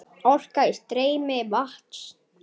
Orka í streymi vatns.